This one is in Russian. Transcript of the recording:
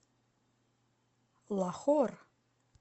лахор